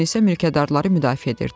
Miqqun isə mülkədarları müdafiə edirdi.